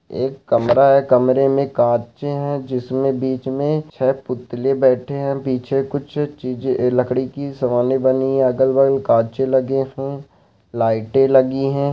एक कमरा है कमरे में काचे है जिसमें बीच में छे पुतले बैठे हैं पीछे कुछ चीजे लकड़ी की बनी है अगर-बगल का काचे लगे है लाइटे लगी है।